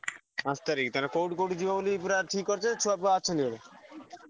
ପାଞ୍ଚ ତାରିଖ୍ ତାହେଲେ କୋଉଠି କୋଉଠି ଯିବ ବୋଲି ପୁରା ଠିକ୍ କରିଛ ଛୁଆଫୁଆ ଅଛନ୍ତି ବୋଧେ।